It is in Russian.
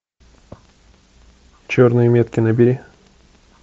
черные метки набери